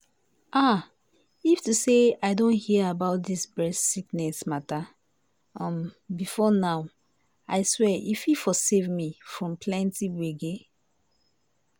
ah if to say i don hear about dis breast sickness matter um before now i swear e for save me from plenty gbege.